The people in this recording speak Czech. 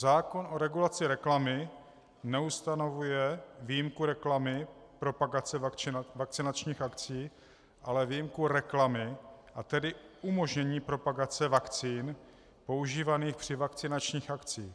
Zákon o regulaci reklamy neustanovuje výjimku reklamy propagace vakcinačních akcí, ale výjimku reklamy, a tedy umožnění propagace vakcín používaných při vakcinačních akcích.